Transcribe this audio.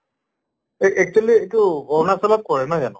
এ actually এইটো অৰুণাচলত পৰে নহয় জানো?